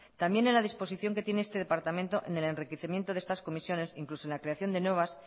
también en la disposición que tiene este departamento en el enriquecimiento de estas comisiones incluso en la creación de nuevas